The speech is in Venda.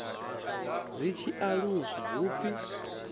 zwi tshi aluswa hu pfi